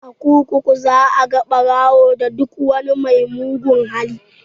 A kurkuku za ka ga ɓarawo da duk wani mai mugun hali